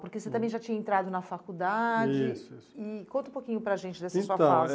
Porque você também já tinha entrado na faculdade, isso, isso, e conta um pouquinho para a gente dessa sua fase. Então eh